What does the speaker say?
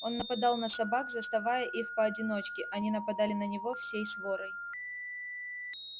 он нападал на собак заставая их поодиночке они нападали на него всей сворой